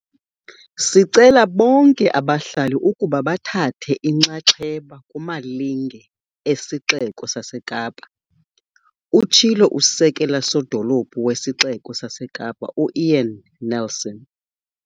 "Sicela bonke abahlali ukuba bathathe inxaxheba kumalinge esiXeko saseKapa," utshilo uSekela-Sodolophu wesiXeko saseKapa u-Ian Neilson.